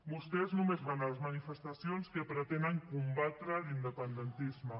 vostès només van a les manifestacions que pretenen combatre l’independentisme